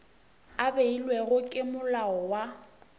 a beilwego ke molao wa